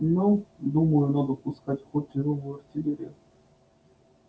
ну думаю надо пускать в ход тяжёлую артиллерию